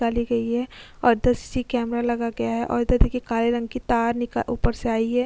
निकाली गई है| और दस सी कैमरा लगा गया है| उधर देखिये काले रंग की तार नई ऊपर से आई है।